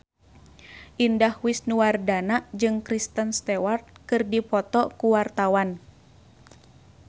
Indah Wisnuwardana jeung Kristen Stewart keur dipoto ku wartawan